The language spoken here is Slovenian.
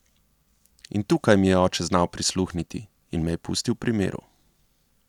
In tukaj mi je oče znal prisluhniti in me je pustil pri miru.